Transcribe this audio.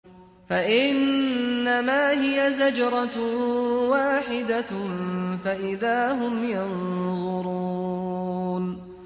فَإِنَّمَا هِيَ زَجْرَةٌ وَاحِدَةٌ فَإِذَا هُمْ يَنظُرُونَ